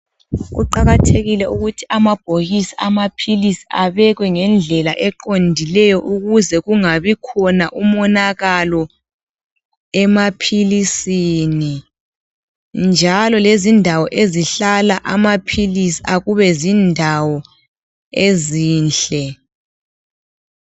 Kuqakathekile ukuthi amabhokisi amaphilisi abekwe ngendlela eqondileyo. Ukuze kungabi lomonakalo emaphilisini, njalo lezindawo ezihlala amaphilisi akube zindawo ezinhle.